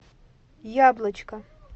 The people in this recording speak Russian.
яблочко